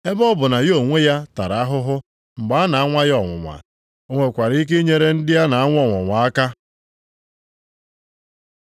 Ebe ọ bụ na ya onwe ya tara ahụhụ mgbe a na-anwa ya ọnwụnwa, o nwekwara ike inyere ndị a na-anwa ọnwụnwa aka.